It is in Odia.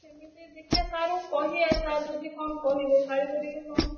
ସେମିତି ଦେଖିଆ sir ଙ୍କୁ କହିଆ sir ଯଦି କଣ କହିବେ ଗାଳି କରିବେ କଣ?